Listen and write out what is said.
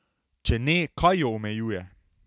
Če ne, kaj jo omejuje?